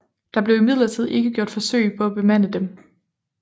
Der blev imidlertid ikke gjort forsøg på at bemande dem